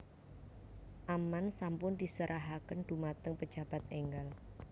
Amman sampun diserahaken dumateng pejabat enggal